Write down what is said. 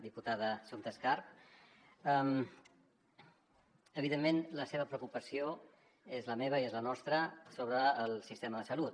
diputada assumpta escarp evidentment la seva preocupació és la meva i és la nostra sobre el sistema de salut